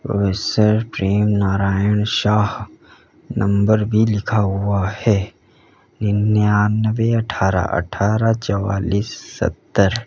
प्रेम Narayan Shah number भी लिखा हुआ है निन्यानबे अठारह अठारह चौवालीस सत्तर।